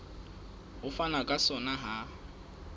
ho fanwa ka sona ha